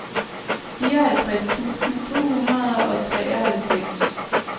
fireoghalvtreds tusind to hundrede og treoghalvfems